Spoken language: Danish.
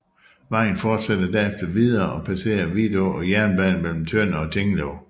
Vejen forsætter derefter videre og passere Vidå og jernbanen mellem Tønder og Tinglev